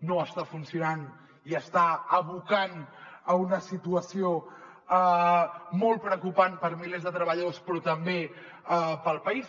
no està funcionant i està abocant a una situació molt preocupant per a milers de treballadors però també per al país